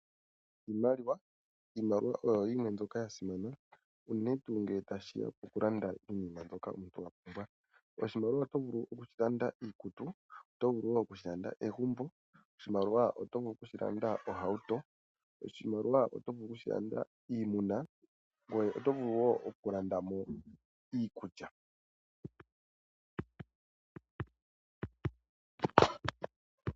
Iimaliwa oyo yimwe mbyoka ya simana unene tuu nge tashi ya pokulanda iinima mbyoka omuntu wa pumbwa. Oshimaliwa oto vulu okushilanda iikutu, oto vulu wo okushilanda egumbo. Oshimaliwa oto vulu okushilanda ohauto. Oshimaliwa oto vulu okushilanda iimuna, ngoye oto vulu wo okulanda mo iikulya.